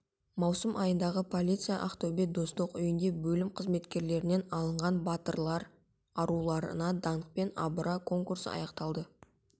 маусым айындағы полиция ақтөбе достық үйінде бөлім қызметкерлерінен алынған батырлар аруларына данқпен абыра конкурсы аяқталды